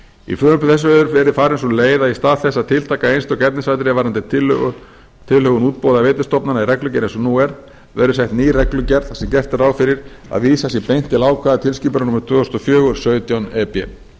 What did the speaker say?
í frumvarpi þessu hefur verið farin sú leið að í stað þess að tiltaka einstök efnisatriði varðandi tilhögun útboða veitustofnana í reglugerð eins og nú er verður sett ný reglugerð þar sem gert er ráð fyrir að vísað sé beint til ákvæða tilskipunar númer tvö þúsund og fjögur sautján e b